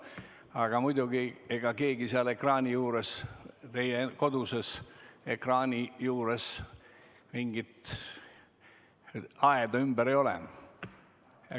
Aga muidugi, ega seal teie kodudes ekraani juures mingit aeda ümber ei ole.